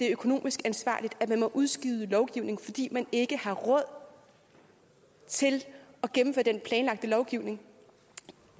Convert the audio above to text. økonomisk ansvarligt at man må udskyde lovgivning fordi man ikke har råd til at gennemføre den planlagte lovgivning